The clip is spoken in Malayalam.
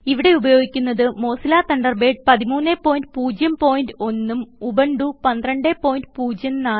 ഇവിടെ ഉപയോഗിക്കുന്നത് മോസില്ല തണ്ടർബേഡ് 1301 ഉം ഉബുണ്ടു 1204 ഉം